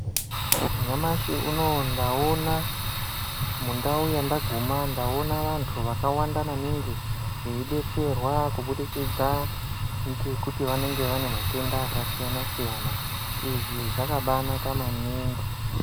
Nyamashi unouyu ndaona mundau yandaguma, ndaona vantu vakawanda veidetserwa kubudikidza ngekuti vanenge vane matenda akasiyana siyana. Izvi zvakabaanaka maningi.